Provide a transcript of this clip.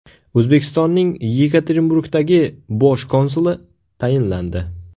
O‘zbekistonning Yekaterinburgdagi bosh konsuli tayinlandi.